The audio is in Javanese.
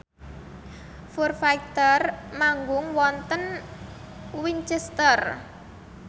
Foo Fighter manggung wonten Winchester